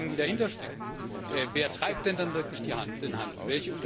Denn all die Fragen, die dahinterstecken Wer treibt denn dann wirklich den Handel?